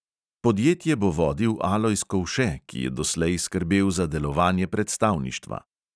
Podjetje bo vodil alojz kovše, ki je doslej skrbel za delovanje predstavništva.